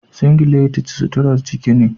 singileti suturar ciki ne.